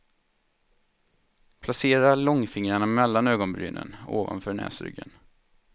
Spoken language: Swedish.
Placera långfingrarna mellan ögonbrynen, ovanför näsryggen.